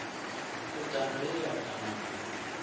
khudano ye ya da na